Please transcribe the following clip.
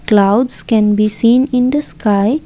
Clouds can be seen in the sky.